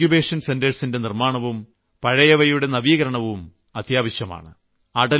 പുതിയ ഇങ്കുബേഷൻ സെന്ററുകളുടെ നിർമ്മാണവും പഴയവയുടെ നവീകരണവും അത്യാവശ്യമാണ്